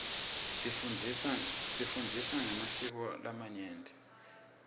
sifundza ngemasiko alamanye mave